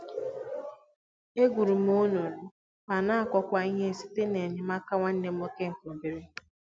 E gwuru m onunu ma n'akụ kwá ihe site na enye m aka nwanne m nwoke nke obere